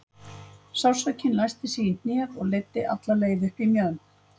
Sársaukinn læsti sig í hnéð og leiddi alla leið upp í mjöðm.